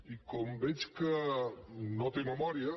i com veig que no té memòria